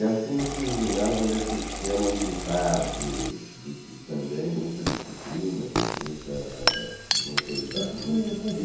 E assim eu fiz o ginásio nesse esquema militar de de de também muita disciplina, de uma autoridade muito rigorosa. Isso com